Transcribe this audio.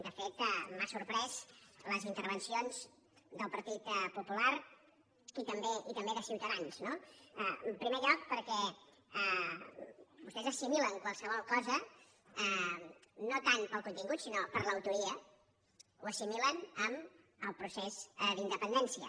de fet m’han sorprès les intervencions del partit popular i també de ciutadans no en primer lloc perquè vostès assimilen qualsevol cosa no tant pel contingut sinó per l’autoria ho assimilen amb el procés d’independència